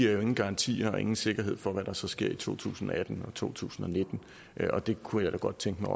er der ingen garantier og ingen sikkerhed for hvad der så sker i to tusind og atten og to tusind og nitten og der kunne jeg da godt tænke mig